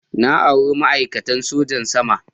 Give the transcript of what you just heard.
Na auri ma'aikatan sojan sama.